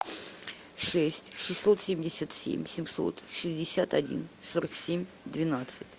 шесть шестьсот семьдесят семь семьсот шестьдесят один сорок семь двенадцать